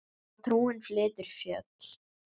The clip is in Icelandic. Að trúin flytur fjöll.